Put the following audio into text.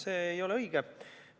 See ei ole õige.